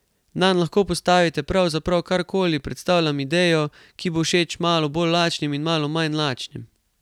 Nanj lahko postavite pravzaprav karkoli, predstavljam idejo, ki bo všeč malo bolj lačnim in malo manj lačnim.